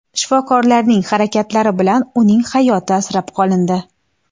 Shifokorlarning harakatlari bilan uning hayoti asrab qolindi.